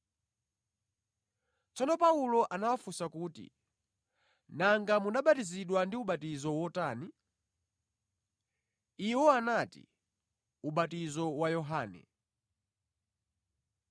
Tsono Paulo anawafunsa kuti, “Nanga munabatizidwa ndi ubatizo wotani?” Iwo anati, “Ubatizo wa Yohane.”